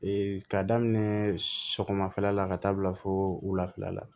k'a daminɛ sɔgɔmada la ka taa bila fo wulafɛla la